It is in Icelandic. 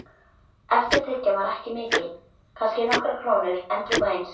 Eftirtekjan var ekki mikil, kannski nokkrar krónur endrum og eins.